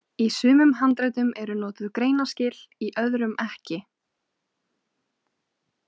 Í sumum handritum eru notuð greinaskil, í öðrum ekki.